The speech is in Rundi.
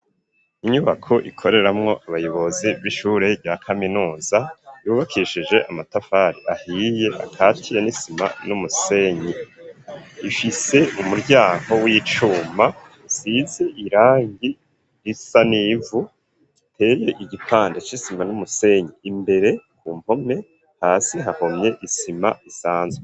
Inyubako ikoreramwo abayobozi b'ishure rya kaminuza yubakishije amatafari ahiye akatiye n'isima n'umusenyi ifise umuryango w'icuma usize irangi risa n'ivu iteye igipande c'isima n'umusenyi imbere ku mpome hasi hahomye isima isanzwe.